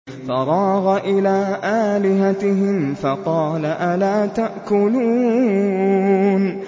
فَرَاغَ إِلَىٰ آلِهَتِهِمْ فَقَالَ أَلَا تَأْكُلُونَ